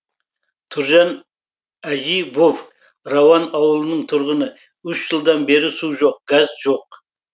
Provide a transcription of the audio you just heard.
тұржан әживов рауан ауылының тұрғыны үш жылдан бері су жоқ газ жоқ